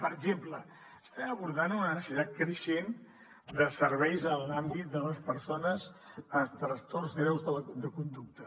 per exemple estem abordant una necessitat creixent de serveis en l’àmbit de les persones amb trastorns greus de conducta